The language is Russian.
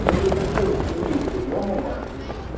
ну если патентки имеется миома матки